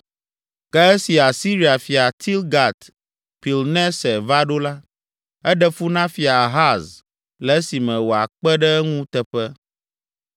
Ke esi Asiria fia Tilgat Pilneser va ɖo la, eɖe fu na Fia Ahaz le esime wòakpe ɖe eŋu teƒe.